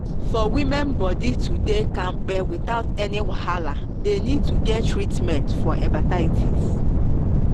for women body to dey kampe without any wahala they need to get treatment for hepatitis.